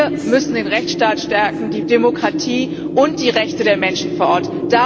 Wir müssen den Rechtsstaat stärken, die Demokratie und die Rechte der Menschen vor Ort.